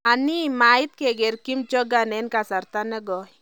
Ani? mait keker Kim Jong-un en kasarta negoi?